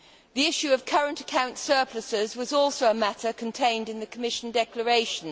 The issue of current account surpluses was also a matter contained in the Commission declaration.